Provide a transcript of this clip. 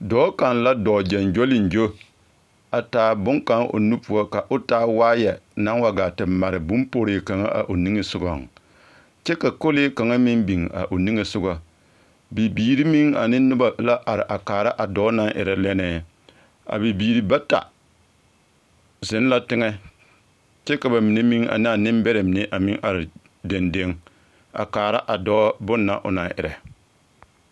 Dɔɔ kaŋ la dɔɔ ɡyoɡyoleŋɡyo a taa bone kaŋa o nu poɔ ka o taa waayɛ na wa ɡaa te mare bomporee kaŋa a o niŋe soɡaŋ kyɛ ka kolee kaŋa meŋ biŋ a o niŋe soɡa bibiri meŋ ane noba la are kaara a dɔɔ naŋ erɛ lɛnnɛɛ a bibiiri bata zeŋ la teŋɛ kyɛ ka ba mine meŋ ane a nembɛrɛ a meŋ are dendeŋ a kaara a dɔɔ bon na o na erɛ.